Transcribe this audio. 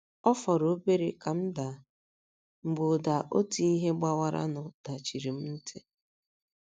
Ọ fọrọ obere ka m daa, mgbe ụda otu ihe gbawaranụ dachiri mụ ntị.